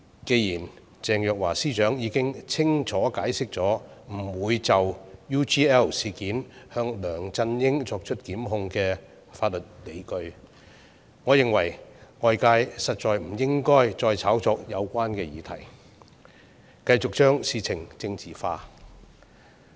既然鄭若驊司長已經清楚解釋不就 UGL 事件向梁振英檢控的法律理據，我認為外界實在不應該再炒作有關議題，繼續將事情政治化。